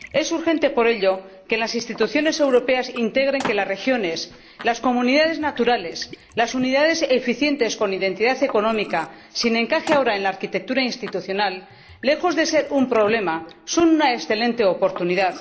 Es urgente, por ello, que las instituciones europeas integren que las regiones, las comunidades naturales, las unidades eficientes con identidad económica, sin encaje ahora en la arquitectura institucional, lejos de ser un problema son una excelente oportunidad.